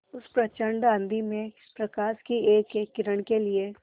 उस प्रचंड आँधी में प्रकाश की एकएक किरण के लिए